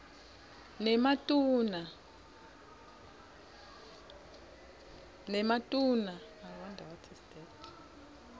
nematuna